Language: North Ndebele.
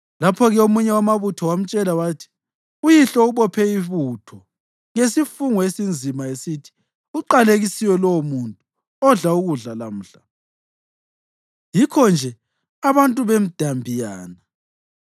Lapho-ke omunye wamabutho wamtshela wathi, “Uyihlo ubophe ibutho ngesifungo esinzima, esithi, ‘Uqalekisiwe lowomuntu odla ukudla lamhla!’ Yikho-nje abantu bemdambiyana.”